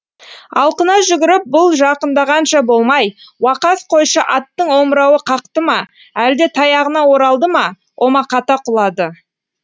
алқына жүгіріп бұл жақындағанша болмай уақас қойшы аттың омырауы қақты ма әлде таяғына оралды ма омақата құлады